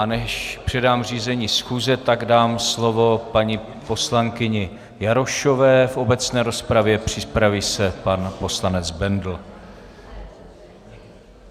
A než předám řízení schůze, tak dám slovo paní poslankyni Jarošové v obecné rozpravě, připraví se pan poslanec Bendl.